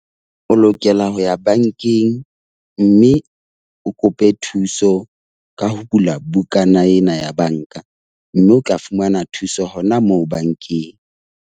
O lokela ho ya bankeng mme o kope thuso ka ho bula bukana ena ya banka, mme o tla fumana thuso hona moo bankeng.